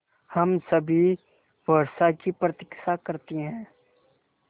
हम सभी वर्षा की प्रतीक्षा करते हैं